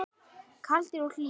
Kaldir og hlýir.